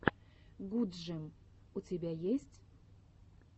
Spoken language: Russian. гудджем у тебя есть